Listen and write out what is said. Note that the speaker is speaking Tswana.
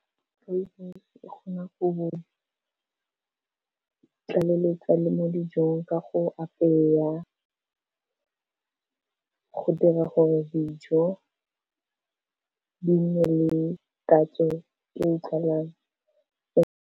Rooibos e kgona go tlaleletsa le mo dijong ka go apeya, go dira gore dijo di nne le tatso e utlwalang.